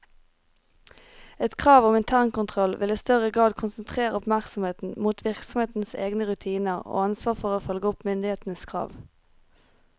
Et krav om internkontroll vil i større grad konsentrere oppmerksomheten mot virksomhetens egne rutiner og ansvar for å følge opp myndighetenes krav.